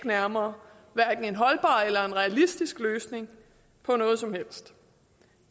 nærmere en holdbar eller en realistisk løsning på noget som helst